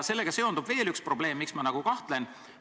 Sellega seondub veel üks probleem, miks ma kahtlen.